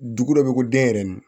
Dugu dɔ bɛ ko denyɛrɛnin